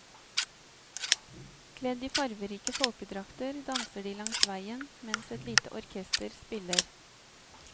Kledd i farverike folkedrakter danser de langs veien mens et lite orkester spiller.